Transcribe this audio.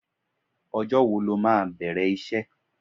Ọjọ́ wo lo máa bẹ̀rẹ̀ iṣẹ́?